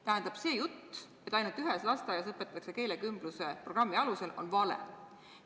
Tähendab, see jutt, et keelekümbluse programmi alusel õpetatakse ainult ühes lasteaias, on vale.